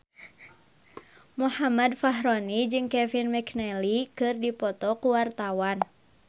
Muhammad Fachroni jeung Kevin McNally keur dipoto ku wartawan